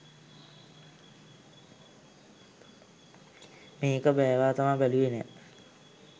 මේක බෑවාතාම බැලුවෙ නෑ!